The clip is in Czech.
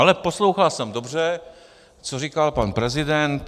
Ale poslouchal jsem dobře, co říkal pan prezident.